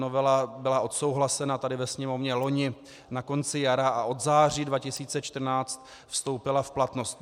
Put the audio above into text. Novela byla odsouhlasena tady ve Sněmovně loni na konci jara a od září 2014 vstoupila v platnost.